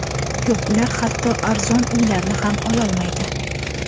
Yo‘q, ular hatto arzon uylarni ham olaolmaydi.